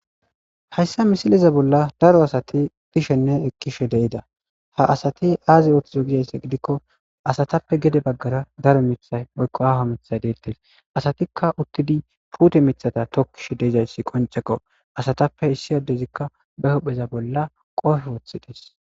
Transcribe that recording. hayssa misileza bolla daro asati dishenne ekkishe de'ida ha asati aazi ooththizo gidayssa gidikko asatappe gede baggara daro mithay woykko aawo mitha deettes asatikka uttidi puute mithata tokkishe de'izayssi qoncekqo asatappe issi addezikka ba hohpheza bolla qoofe wooththides